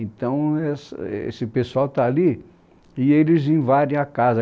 Então, né es esse pessoal está ali e eles invadem a casa.